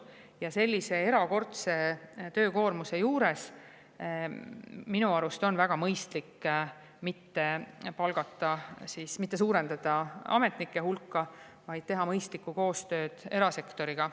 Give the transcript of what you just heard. Ja sellise erakordse töökoormuse juures on minu arust väga mõistlik mitte suurendada ametnike hulka, vaid teha mõistlikku koostööd erasektoriga.